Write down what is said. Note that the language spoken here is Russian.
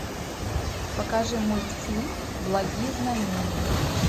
покажи мультфильм благие знамения